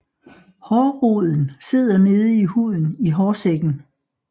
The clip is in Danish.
Hårroden sidder nede i huden i hårsækken